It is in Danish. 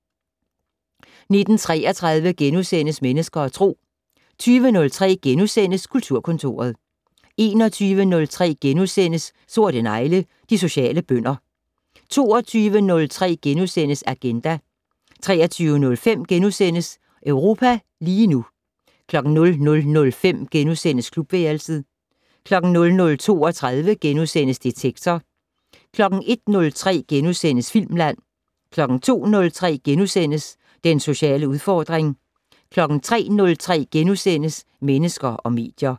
19:33: Mennesker og Tro * 20:03: Kulturkontoret * 21:03: Sorte negle: De sociale bønder * 22:03: Agenda * 23:05: Europa lige nu * 00:05: Klubværelset * 00:32: Detektor * 01:03: Filmland * 02:03: Den sociale udfordring * 03:03: Mennesker og medier *